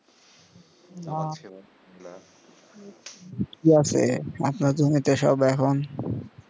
কি আছে আপনার জমিতে সব এখন